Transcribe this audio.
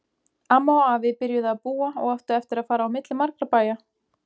Amma og afi byrjuðu að búa og áttu eftir að fara á milli margra bæja.